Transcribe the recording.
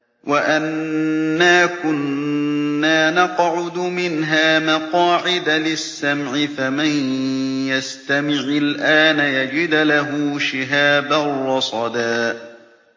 وَأَنَّا كُنَّا نَقْعُدُ مِنْهَا مَقَاعِدَ لِلسَّمْعِ ۖ فَمَن يَسْتَمِعِ الْآنَ يَجِدْ لَهُ شِهَابًا رَّصَدًا